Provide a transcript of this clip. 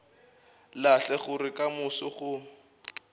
lahle gore ka moso go